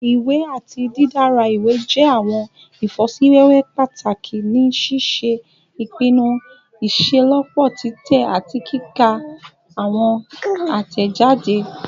Iwọn iwe ati didara iwe jẹ awọn ifosiwewe pataki ni ṣiṣe ipinnu iṣelọpọ titẹ ati kika ti awọn atẹjade